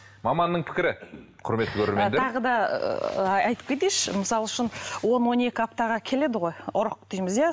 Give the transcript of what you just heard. маманның пікірі құрметті көрермендер тағы да ыыы айтып кетейінші мысалы үшін он он екі аптаға келеді ғой ұрық дейміз иә